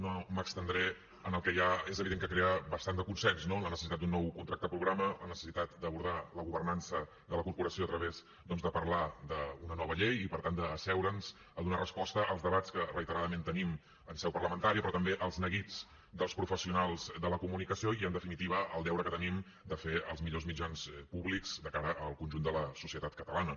no m’estendré en el que ja és evident que crea bastant de consens no la necessitat d’un nou contracte programa la necessitat d’abordar la governança de la corporació a través doncs de parlar d’una nova llei i per tant d’asseure’ns a donar resposta als debats que reiteradament tenim en seu parlamentària però també als neguits dels professionals de la comunicació i en definitiva al deure que tenim de fer els millors mitjans públics de cara al conjunt de la societat catalana